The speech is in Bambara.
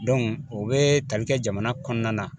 o bɛ tali kɛ jamana kɔnɔna na